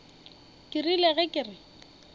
ke rile ge ke re